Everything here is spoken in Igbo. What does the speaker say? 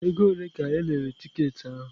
Ego ole ka erere tiketi ahụ?